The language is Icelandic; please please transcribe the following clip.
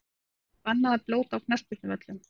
Er bannað að blóta á knattspyrnuvöllum?!